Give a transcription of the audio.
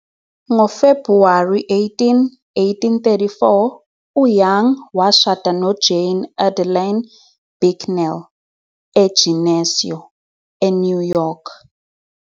NgoFebhuwari 18, 1834, uYoung washada noJane Adeline Bicknell eGeneseo, eNew York.